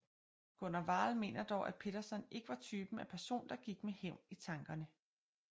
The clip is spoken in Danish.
Gunnar Wall mener dog at Pettersson ikke var typen af person der gik med hævn i tankerne